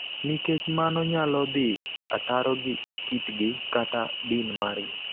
nikech mano nyalo dhi ataro gi kitgi kata din margi.